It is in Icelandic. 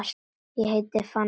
Ég heiti Fanney.